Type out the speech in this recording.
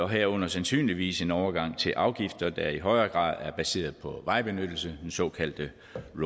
herunder sandsynligvis en overgang til afgifter der i højere grad er baseret på vejbenyttelse den såkaldte